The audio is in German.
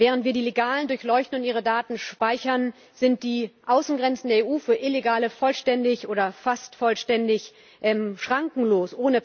Während wir die Legalen durchleuchten und ihre Daten speichern, sind die Außengrenzen der EU für Illegale vollständig oder fast vollständig schrankenlos.